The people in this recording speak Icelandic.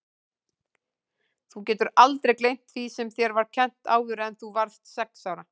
Þú getur aldrei gleymt því sem þér var kennt áður en þú varðst sex ára.